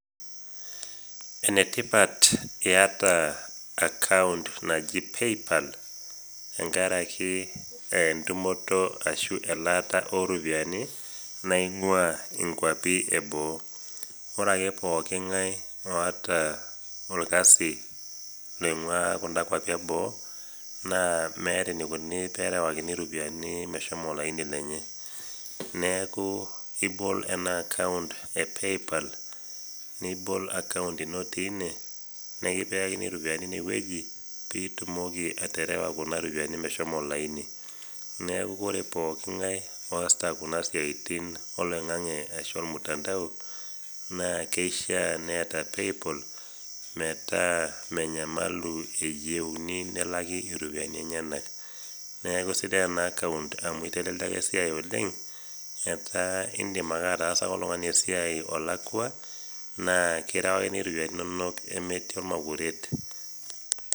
Enetipat iyata akaont naji PayPal tenkaraki tenkaraki entumoto ashu elaata oropiyiani naingua nkwapi eboo. ore ake pooki ngae oota orkasi oinguaa Kuna kwapi eboo, naa meeta enikoni tenerewakini ropiyiani meshomo naa enye ,neeku ibol naaa ena akaont epaypal nibol akaont ino tine nikipikakini ropiyiani ine weji pee itum atipika Kuna ropiyiani olaini .neeku ore pooki nage oosita Kuna siaitin oloingange ashua ormutandao naa kishaa neeta PayPal metaa menyamalu eyieu nelaki ropiyiani enyenak .neeku eisidai ena akaont amu eitelelia esiai oleng ,etaa indim ataasaki esiai oltungani ilakwa naa ekindim aterewaki ropiyiani inonok metii ormakuret.